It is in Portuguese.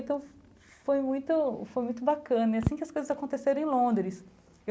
Então, foi muito foi muito bacana, assim que as coisas aconteceram em Londres.